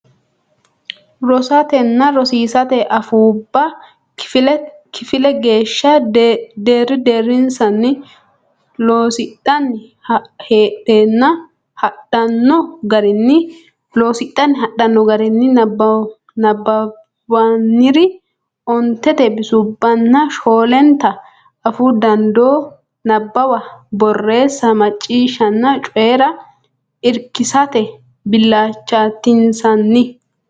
Rosatenna rosiisate assootubba kifile geeshsha deerri deerrinsanni lossidhanni hadhanno garinni nabbawannire ontenta bisubbanna shoolenta afuu danduubba nabbawa borreessa macciishshanna coyi ra irkissate bilchaatinsanni.